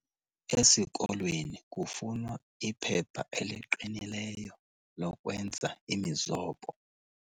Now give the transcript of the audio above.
Esikolweni kufunwa iphepha eliqinileyo lokwenza imizobo.